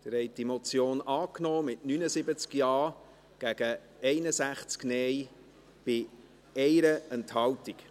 Sie haben diese Motion angenommen, mit 79 Ja- gegen 61 Nein-Stimmen bei 1 Enthaltung.